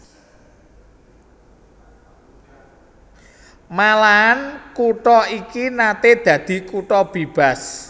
Malahan kutha iki naté dadi kutha bébas